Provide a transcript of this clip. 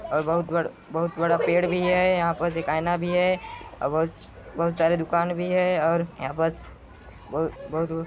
और बहुत बड़ बहुत बड़ा पेड़ भी है यहा पे एक आईना भी है और बहुत-बहुत सारी दुकान भी है और यह पर बहु-बहुत--